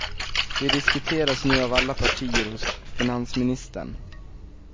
De diskuteras nu av alla partier hos finansministern.